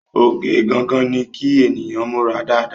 Oge gangan ni kí ènìyàn múra dáadáa